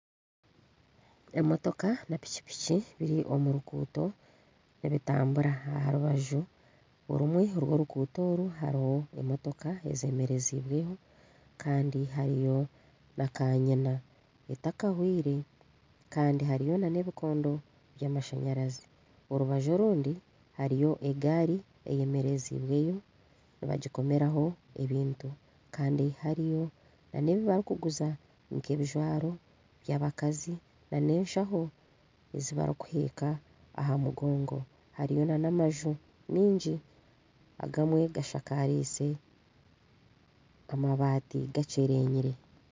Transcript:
Emotoka na pikipiki biri omu ruguuto nibitambura. Aha rubaju orumwe orw'oruguuto oru hariho emotoka ezemereziibweho kandi hariyo na kanyina etakahwire kandi hariyo n'ebikondo by'amashanyarazi. Orubaju orundi hariyo egaari eyemereziibweyo nibagikomeraho ebintu. Kandi hariyo n'ebi barikuguza nk'ebijwaro by'abakazi n'enshaho ezi barikuheeka aha mugongo. Hariyo n'amaju maingi agamwe gashakariize amabaati gakyerenyire.